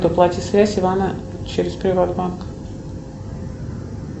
оплати связь ивана через приват банк